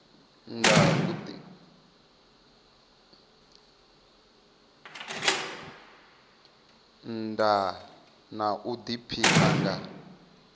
nnda na u diphina nga